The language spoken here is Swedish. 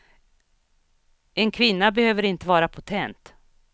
En kvinna behöver inte vara potent.